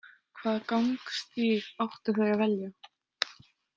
Hvaða gangstíg áttu þau að velja?